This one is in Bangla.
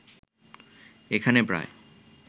এখানে প্রায়